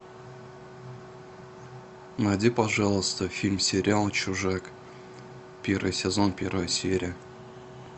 найди пожалуйста фильм сериал чужак первый сезон первая серия